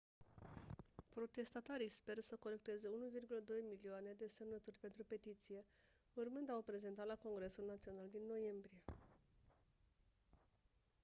protestatarii speră să colecteze 1,2 milioane de semnături pentru petiție urmând a o prezenta la congresul național din noiembrie